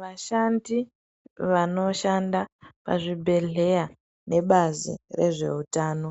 Vashandi vanoshanda pazvibhedhleya nebazi rezveutano